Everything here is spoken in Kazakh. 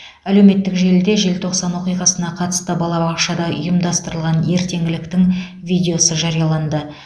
әлеуметтік желіде желтоқсан оқиғасына қатысты балабақшада ұйымдастырылған ертеңгіліктің видеосы жарияланды